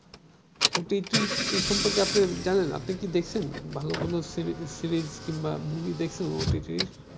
OTT এ সম্পর্কে আপনি জানেন আপনি কি দেখছেন ভালো কোন series কিংবা মুভি দেখছেন OTT র ।